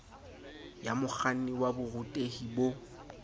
ya mokganni wa borutehi bo